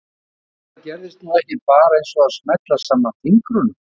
Ég hélt að það gerðist nú ekki bara eins og að smella saman fingrunum.